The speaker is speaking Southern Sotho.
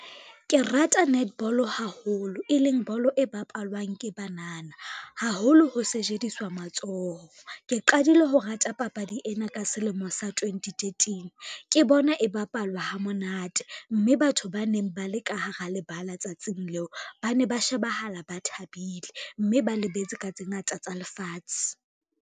Ke rata netball haholo, e leng bolo e bapalwang ke banana, haholo ho sejediswa matsoho. Ke qadile ho rata papadi ena ka selemo sa twenty thirteen. Ke bona e bapalwa havmonate, mme batho ba neng ba le ka hara lebala tsatsing leo, ba ne ba shebahala ba thabile, mme ba lebetse ka tse ngata tsa lefatshe.